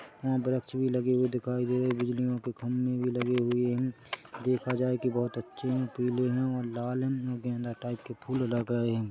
यहाँ वृक्ष भी लगे हुए दिखाई दे रहे हैं बिजलीओं के खंभे भी लगे हुए हैं देखा जाए की अच्छे हैं पीले हैं और लाल हैं और गेंदा टाइप के फुल लग रहे हैं।